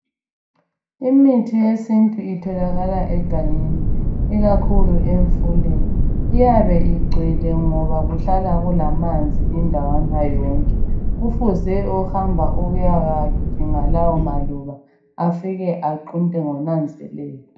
Imithi yesintu itholakala egangeni ikakhulu emfuleni iyabe igcwele ngoba kuhlala kulamanzi indawana yonke. Kufuze ohamba ukuyadinga lawomaluba afike aqunte ngonanzelelo.